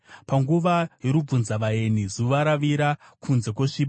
panguva yorubvunzavaeni, zuva ravira, kunze kwosviba.